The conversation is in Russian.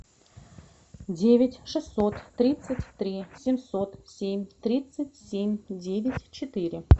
девять шестьсот тридцать три семьсот семь тридцать семь девять четыре